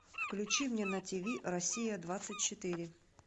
включи мне на тиви россия двадцать четыре